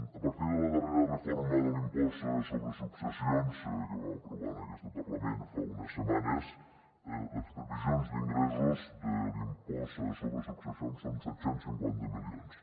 a partir de la darrera reforma de l’impost sobre successions que vam aprovar en aquest parlament fa unes setmanes les previsions d’ingressos de l’impost sobre successions són de set cents i cinquanta milions